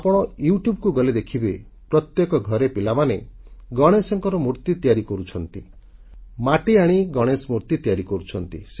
ଆପଣ ୟୁଟ୍ୟୁବ୍ ଗଲେ ଦେଖିବେ ପ୍ରତ୍ୟେକ ଘରେ ପିଲାମାନେ ଗଣେଶଙ୍କ ମୂର୍ତ୍ତି ତିଆରି କରୁଛନ୍ତି ମାଟିଆଣି ଗଣେଶ ମୂର୍ତ୍ତି ତିଆରି କରୁଛନ୍ତି